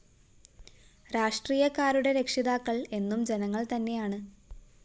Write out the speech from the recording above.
രാഷ്ട്രീയക്കാരുടെ രക്ഷിതാക്കള്‍ എന്നും ജനങ്ങള്‍ തന്നെയാണ്